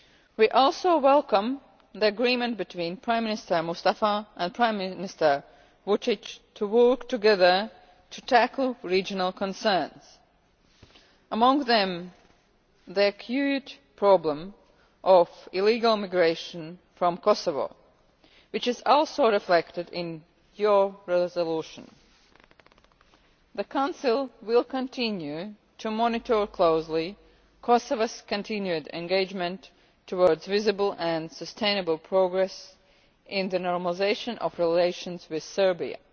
We also welcome the agreement between Prime Minister Mustafa and Prime Minister Vučić to work together to tackle regional concerns, among them the acute problem of illegal migration from Kosovo, which is also reflected in your resolution. The Council will continue to monitor closely Kosovo's continued engagement towards visible and sustainable progress in the normalisation of relations with Serbia.